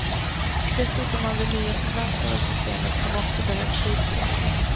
Dessutom har vi nya förvaltare av systemet, som också behövt tid på sig.